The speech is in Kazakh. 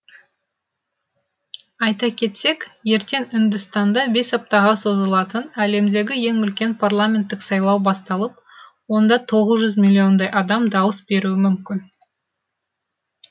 айта кетсек ертең үндістанда бес аптаға созылатын әлемдегі ең үлкен парламенттік сайлау басталып онда тоғыз жүз миллиондай адам дауыс беруі мүмкін